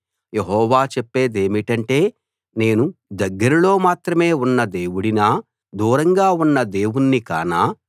యెహోవా చెప్పేదేమిటంటే నేను దగ్గరలో మాత్రమే ఉన్న దేవుడినా దూరంగా ఉన్న దేవుణ్ణి కానా